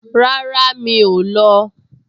Rárá, mi ò lọ